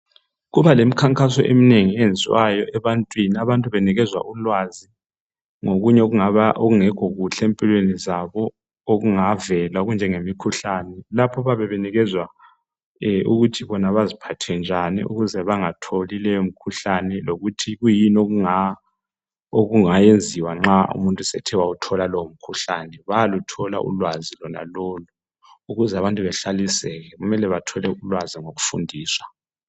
Kubalekhankaso eminengi eyenziwayo abantu benikezwa ulwazi ngokunye okungekho kuhle empilweni zabo okungavela okunjengemi khuhlane lapho abayabe benikezwa ukuthi beziphathe njani ukuzebengatholi leyo mkhuhlane lokuthi kuyini okungenziwa nxa ungawuthola lowo mkhuhlane bayaluthola ulwazi lona lolu ukuze abantu bahlaliseke kumele bathole ulwazi ngokufundiswa